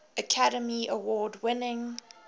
academy award winning